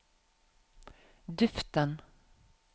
duften